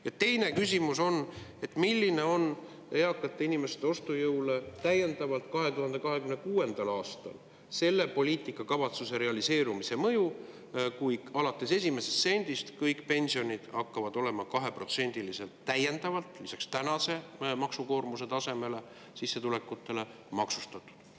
Ja teine küsimus: kuidas mõjutab täiendavalt eakate inimeste ostujõudu 2026. aastal selle poliitikakavatsuse realiseerumine, kui kõik pensionid alates esimesest sendist hakkavad olema täiendavalt, lisaks tänase maksukoormuse tasemele 2%‑liselt sissetulekutena maksustatud?